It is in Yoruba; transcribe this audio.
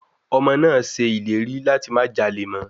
Ọmọ náà á ṣe ìlérí láti má jalè mọ́.